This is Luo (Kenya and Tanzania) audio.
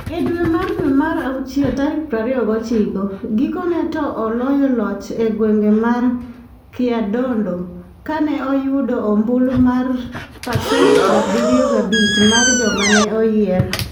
E dwe mar dwe mar awuchiel tarik 29, gikone ne oloyo loch e gweng' mar Kyadondo, ka ne oyudo ombulu mar pasent 75 mar joma ne oyier.